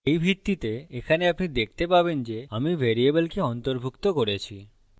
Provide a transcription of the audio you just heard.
এই ভিত্তিতে এখানে আপনি দেখতে পাবেন যে আমি ভ্যারিয়েবলকে অন্তর্ভুক্ত করেছি